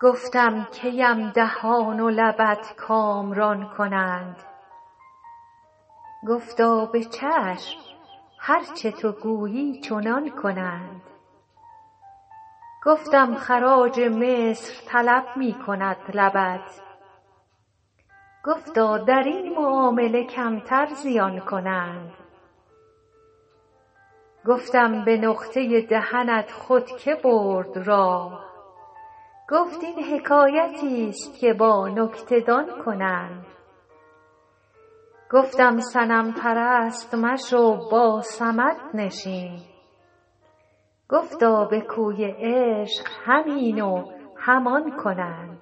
گفتم کی ام دهان و لبت کامران کنند گفتا به چشم هر چه تو گویی چنان کنند گفتم خراج مصر طلب می کند لبت گفتا در این معامله کمتر زیان کنند گفتم به نقطه دهنت خود که برد راه گفت این حکایتیست که با نکته دان کنند گفتم صنم پرست مشو با صمد نشین گفتا به کوی عشق هم این و هم آن کنند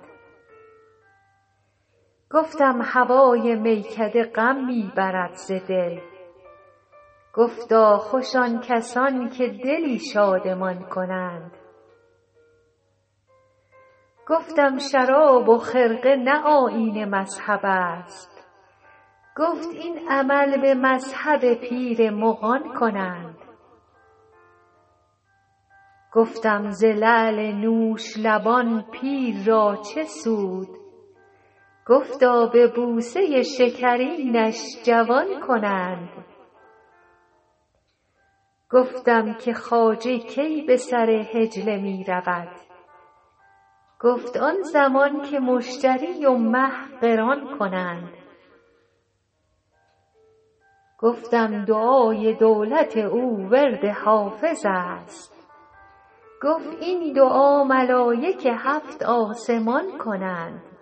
گفتم هوای میکده غم می برد ز دل گفتا خوش آن کسان که دلی شادمان کنند گفتم شراب و خرقه نه آیین مذهب است گفت این عمل به مذهب پیر مغان کنند گفتم ز لعل نوش لبان پیر را چه سود گفتا به بوسه شکرینش جوان کنند گفتم که خواجه کی به سر حجله می رود گفت آن زمان که مشتری و مه قران کنند گفتم دعای دولت او ورد حافظ است گفت این دعا ملایک هفت آسمان کنند